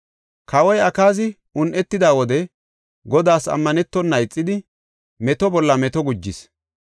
Kawoy Akaazi un7etida wode Godaas ammanetona ixidi meto bolla meto gujis.